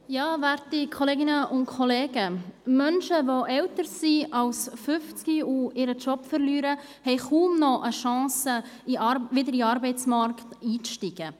Menschen, die älter als 50 Jahre sind und ihren Job verlieren, haben kaum mehr eine Chance, wieder in den Arbeitsmarkt einzusteigen.